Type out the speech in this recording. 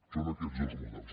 són aquests els models